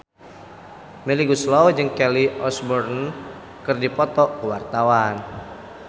Melly Goeslaw jeung Kelly Osbourne keur dipoto ku wartawan